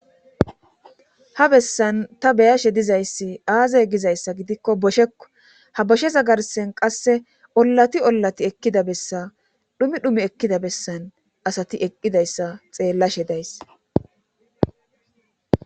ha bessan ta beyashe dizayssi aazay gizayssa gidikko boshekko ha boshesa garsen qasse ollati ollati ekkida bessa dhumi dhumi ekkida bessan asati eqqidayssa xeellashe days